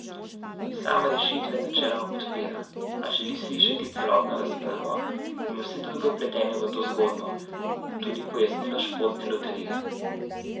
Sam rešitve načeloma podpira, a želi slišati celotno razpravo in vse druge vpletene v to zgodbo, tudi pojasnilo Športne loterije.